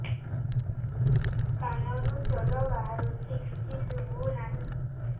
କାନରୁ ଜଳ ବାହାରୁଛି କିଛି ଶୁଭୁ ନାହିଁ